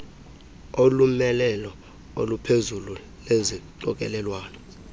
ulomelelo olungaphezulu lesixokelelwano